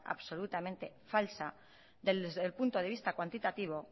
absolutamente falsa desde el punto de vista cuantitativo